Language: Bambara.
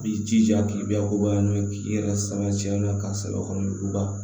I b'i jija k'i bɛɛ koba n'o ye k'i yɛrɛ sama cɛn ka sɛbɛ kɔnɔ juguba